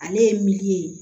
Ale ye miliyɔn ye